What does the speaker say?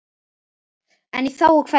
En í þágu hverra?